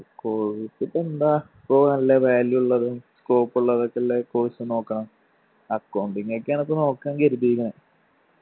course ഇപ്പൊ എന്താ ഇപ്പൊ നല്ല value ഇള്ളതും scope ഉള്ളതൊക്കെ ഇള്ള course നോക്കണം. accounting ഒക്കെ ആണ് ഇപ്പോ നോക്കാൻ കരുതിക്കണെ